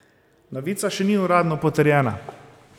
Novica še ni uradno potrjena.